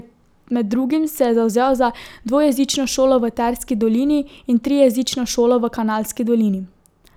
Med drugim se je zavzel za dvojezično šolo v Terski dolini in trijezično šolo v Kanalski dolini.